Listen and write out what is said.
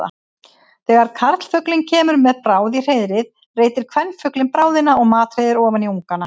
Þegar karlfuglinn kemur með bráð í hreiðrið reitir kvenfuglinn bráðina og matreiðir ofan í ungana.